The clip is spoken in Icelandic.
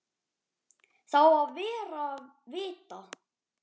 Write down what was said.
Það á að vera vita.